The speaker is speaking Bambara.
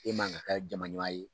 E man kan kɛ jamana